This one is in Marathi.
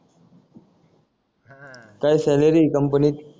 काय सॅलरी ए कंपनीत